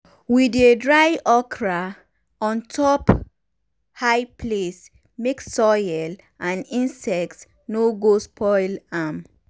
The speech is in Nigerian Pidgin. we dey dry okra on top high place make soil and insects no go spoil am.